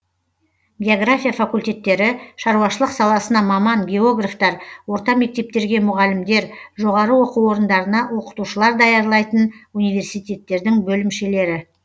география факультеттері шаруашылық саласына маман географтар орта мектептерге мұғалімдер жоғары оку орындарына окытушылар даярлайтын университеттердің бөлімшелері